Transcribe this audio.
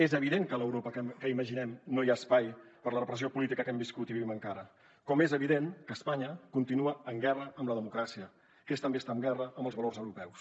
és evident que a l’europa que imaginem no hi ha espai per a la repressió política que hem viscut i vivim encara com és evident que espanya continua en guerra amb la democràcia que és també estar en guerra amb els valors europeus